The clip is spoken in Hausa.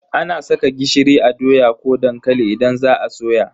Ana saka gishiri a doya ko dankali idan za a soya.